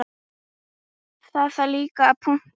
Það þarf líka að punta.